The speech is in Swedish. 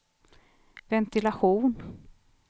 ventilation